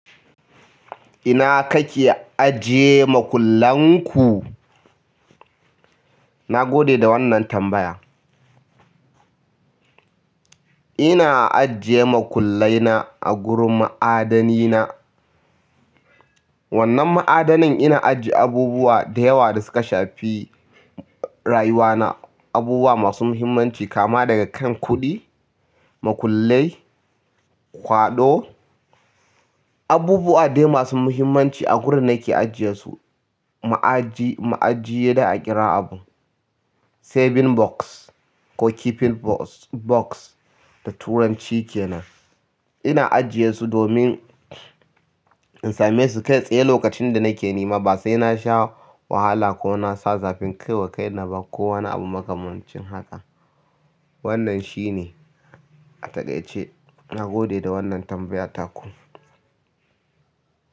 Ina kake ajiye makullan ku? Na gode da wannan tambaya. Ina ajiye makullai na a gurin ma'adani na. Wannan ma'adanin ina ajiye abubuwa da yawa da suka shafi rayuwa na, abubuwa masu muhimmanci kama daga kan kuɗi, makullai, kwaɗo, abubuwa dai masu muhimmanci a gurin nake ajiye su. Ma'aji, ma'ajiye za'a kira abun, saving box ko keeping box da turanci kenan. Ina ajiye su domin in same su kai tsaye lokacin da nake nema ba sai na sha wahala ko na sa zafin kai wa kaina ba ko wani abu makamancin haka. Wannan shi ne. A taƙaice na gode da wannan tambaya taku.